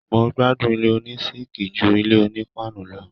Mo gbádùn ilé oní síkìì ju ilé oní paanu lọ.